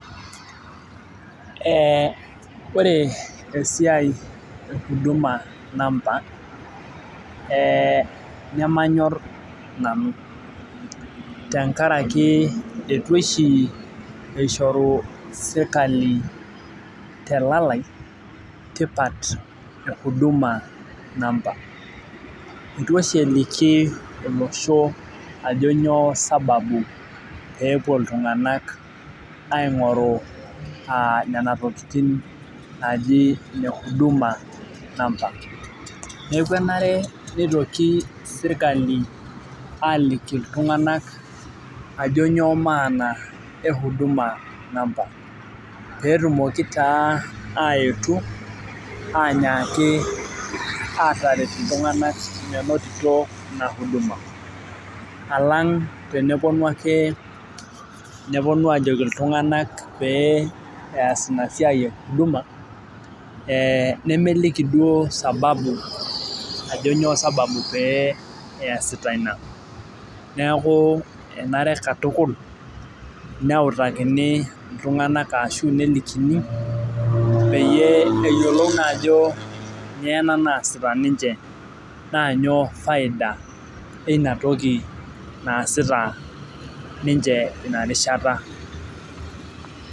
Ore esiai e huduma number ,eh nemanyor nanu. Tenkaraki eitu oshi ishoru sirkali telalai tipat e huduma number. Itu oshi eliki olosho ajo nyoo sababu pepuo iltung'anak aing'oru nena tokiting naji ne huduma number. Neeku enare nitoki sirkali aliki iltung'anak ajo nyoo maana e huduma number. Petumoki taa aetu, anyaki ataret iltung'anak menotito ina huduma. Alang' teneponu ake neponu ajoki iltung'anak pee ees inasiai e huduma, nemeliki duo sababu ajo nyoo sababu pee eesita ina. Neeku enare katukul, neutakini iltung'anak ashu nelikini, peyie eyiolou naajo nyoo ena naasita ninche na nyoo faida eina toki naasita ninche inarishata.